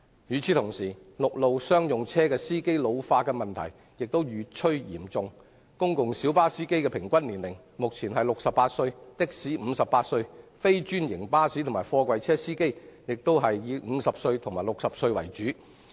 與此同時，陸路商用車司機老化的問題越趨嚴重，目前公共小巴司機的平均年齡為68歲、的士司機58歲、非專營巴士及貨櫃車司機亦以50至60歲為主。